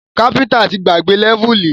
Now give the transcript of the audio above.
Káfíntà ti gbàgbé lẹ́vùlì